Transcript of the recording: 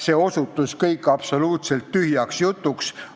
See osutus kõik absoluutselt tühjaks jutuks.